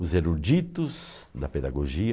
Os eruditos da pedagogia.